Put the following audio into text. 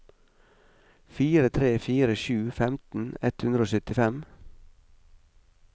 fire tre fire sju femten ett hundre og syttifem